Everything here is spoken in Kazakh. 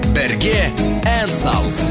бірге ән сал